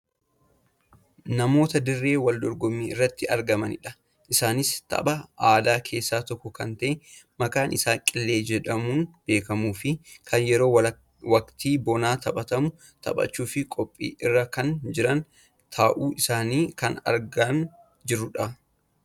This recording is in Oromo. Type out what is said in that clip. Namoota dirree wal dorgommii irratti argamanidha. Isaanis tapha aadaa keessaa tokko kan ta'e kan maqaan isaa qillee jedhamuun beekkamuufi kan yeroo waktii bonaa taphatamu taphachuuf qophii irrakan jiran ta'uu isaanii kan argaa jirrudha.